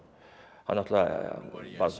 hann náttúrulega varð